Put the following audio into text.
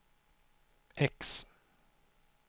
X